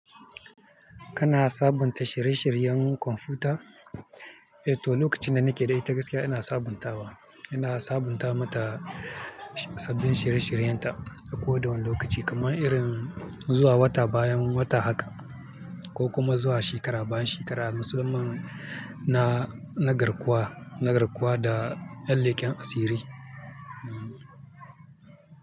Kana sabunta shirye-shiryen kwamfuta? Eh to, lokacin da nake da ita gaskiya ina sabuntawa. Ina sabunta mata sabbin shirye-shiryen ta a kowane lokaci, kamar irin zuwa wata bayan wata haka ko kuma zuwa shekara bayan shekara. Musamman na, na garkuwa, na garkuwa da yan lekan asiri. Hmm.